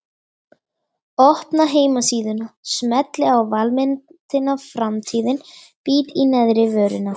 Opna heimasíðuna, smelli á valmyndina Framtíðin, bít í neðrivörina.